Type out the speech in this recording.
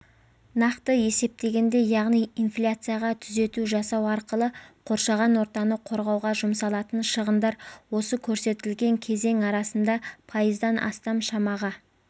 нақты есептегенде яғни инфляцияға түзету жасау арқылы қоршаған ортаны қорғауға жұмсалатын шығындар осы көрсетілген кезең арасында пайыздан астам шамаға